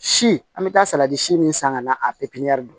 Si an bɛ taa salati si min san ka na a